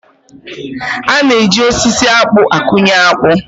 A na-eji osisi akpụ akụnye akpụ